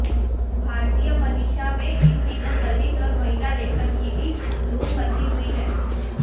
भारतीय मनीषा में इन दिनों दलित और महिला लेखन की भी धूम मची हुई है